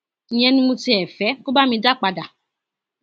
ìyẹn ni mo tiẹ fẹ kó bá mi dá padà